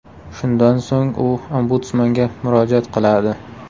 Shundan so‘ng u Ombudsmanga murojaat qiladi.